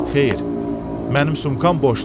Xeyr, mənim sumkam boşdur.